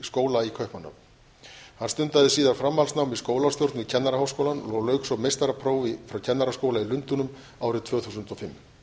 skóla í kaupmannahöfn hann stundaði síðar framhaldsnám í skólastjórn við kennaraháskólann og lauk svo meistaraprófi frá kennaraskóla í lundúnum árið tvö þúsund og fimm